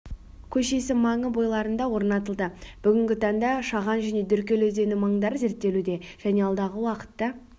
көшесі маңы бойларында орнатылды бүгінгі таңда шаған және деркөл өзені маңдары зерттелуде және алдағы уақытта